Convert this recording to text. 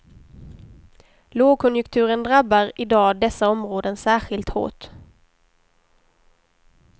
Lågkonjunkturen drabbar i dag dessa områden särskilt hårt.